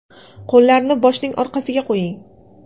Qo‘llarni boshning orqasiga qo‘ying.